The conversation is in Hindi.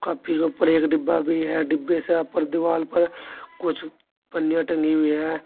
और फ्रिज ऊपर एक डिब्बा भी है डिब्बे से यहां पर दीवाल पर कुछ पन्नियां टंगी हुई हैं।